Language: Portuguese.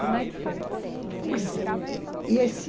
Como é que foi? Pois, é, esse